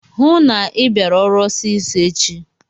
Hụụ na Ị bịara ọrụ ọsịsọ echi!